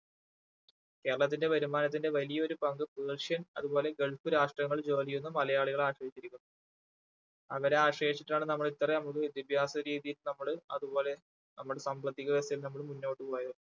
കേരളത്തിന്റെ വരുമാനത്തിന്റെ വലിയൊരു പങ്കും persian അതുപോലെ ഗൾഫ് രാഷ്ട്രങ്ങളിൽ ജോലി ചെയ്യുന്ന മലയാളികളെ ആശ്രയിച്ചിരിക്കുന്നു. അങ്ങനെ ആശ്രയിച്ചിട്ടാണ് നമ്മൾ ഇത്ര ഒരു വിദ്യാഭ്യാസ രീതിയിൽ നമ്മള് അതുപോലെ നമ്മള് സാമ്പത്തികത്തിലും നമ്മള് മുന്നോട്ട് പോയത്